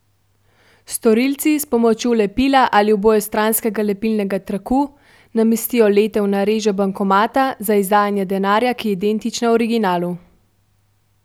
Storilci s pomočjo lepila ali obojestranskega lepilnega traku namestijo letev na režo bankomata za izdajanje denarja, ki je identična originalu.